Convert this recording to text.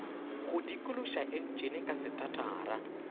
go dikološa entšene ka setatara